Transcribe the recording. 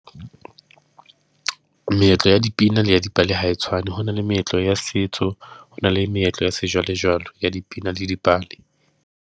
Meetlo ya dipina la ya dipale ha e tshwane, ho na le meetlo ya setso, ho na le meetlo ya sejwalejwale ya dipina le dipale.